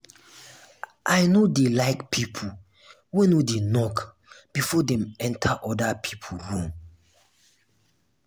i no dey like pipo wey no dey knock before dem enta oda pipo room.